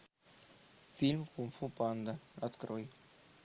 фильм кунг фу панда открой